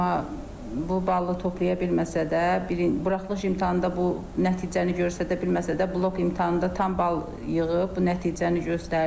Amma bu balı toplaya bilməsə də, buraxılış imtahanda bu nəticəni göstərə bilməsə də, blok imtahanda tam bal yığıb, bu nəticəni göstərdi.